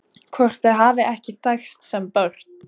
Hvort þau hafi ekki þekkst sem börn?